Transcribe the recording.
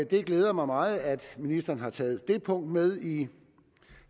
det glæder mig meget at ministeren har taget det punkt med i